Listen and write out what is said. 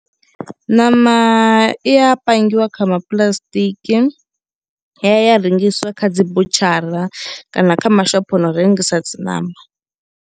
Ṋama i ya pangiwa kha ma puḽasitiki ya ya ya rengiswa kha dzi butshara kana kha mashopho a no rengisa dzi ṋama.